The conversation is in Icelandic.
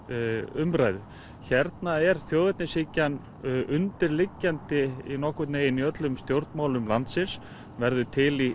umræðu hérna er þjóðernishyggjan undirliggjandi nokkurn veginn í öllum stjórnmálum landsins verður til í